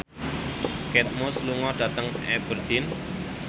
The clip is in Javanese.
Kate Moss lunga dhateng Aberdeen